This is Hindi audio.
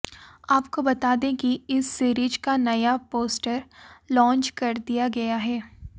आपको बता दें कि इस सीरीज का नया पोस्टर लॉंच कर दिया गया है